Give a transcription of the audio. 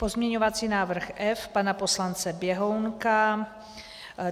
Pozměňovací návrh F pana poslance Běhounka.